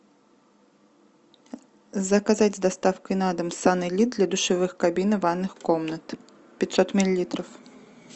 заказать с доставкой на дом санэлит для душевых кабин и ванных комнат пятьсот миллилитров